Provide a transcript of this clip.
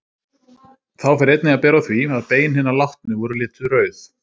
Þá fer einnig að bera á því, að bein hinna látnu voru lituð rauð.